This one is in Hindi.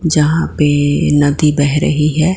यहां पे नदी बह रही है।